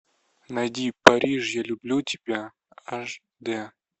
найди париж я люблю тебя аш дэ